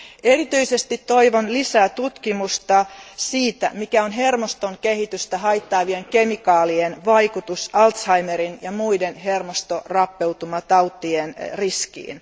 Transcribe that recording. Erityisesti toivon lisää tutkimusta siitä, mikä on hermoston kehitystä haittaavien kemikaalien vaikutus Alzheimeriin ja muiden hermostorappeutumatautien riskiin.